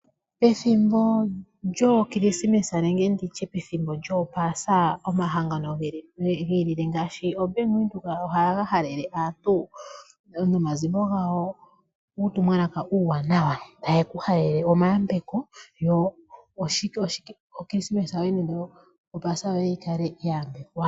Pethimbo lyOokilisimesa nenge lyOopasa omahangano gi ilile ngaashi ombanga yaVenduka ohaga halele aantu nomazimo gawo uutumwalaka uuwanawa. Taye ku halele omayambeko yo Okilisimesa nenge Opaasa yoye yi kale ya yambekwa.